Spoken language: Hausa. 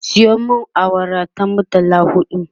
Sayo min awara ta murtala huɗu